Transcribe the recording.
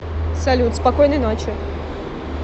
салют спокойной ночи